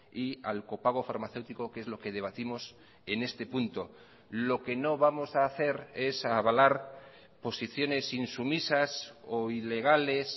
y al copago farmacéutico que es lo que debatimos en este punto lo que no vamos a hacer es avalar posiciones insumisas o ilegales